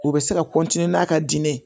U bɛ se ka n'a ka diinɛ